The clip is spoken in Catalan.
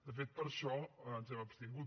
de fet per això ens hem abstingut